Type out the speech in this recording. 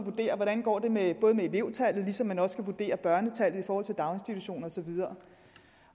hvordan det går med elevtallet ligesom man også skal vurdere børnetallet i forhold til daginstitutioner og så videre